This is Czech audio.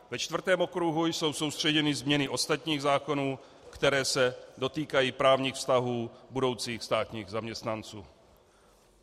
Ve čtvrtém okruhu jsou soustředěny změny ostatních zákonů, které se dotýkají právních vztahů budoucích státních zaměstnanců.